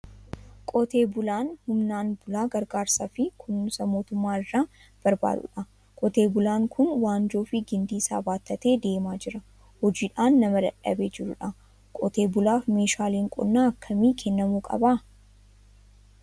Qotee bulaan humnaan bulaa gargaarsaa fi kunuunsa mootummaa irraa barbaadudha. Qotee bulaan kun waanjoo fi gindii isaa baattatee deemaa jira. Hojiidhaan nama dadhabee jiru dha. Qotee bulaaf meeshaaleen qonnaa akkamii kennamuu qaba?